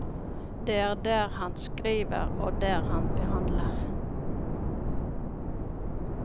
Det er der han skriver og der han behandler.